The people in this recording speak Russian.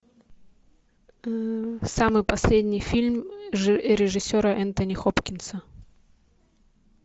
самый последний фильм режиссера энтони хопкинса